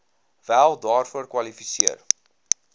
wel daarvoor kwalifiseer